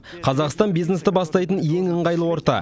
қазақстан бизнесті бастайтын ең ыңғайлы орта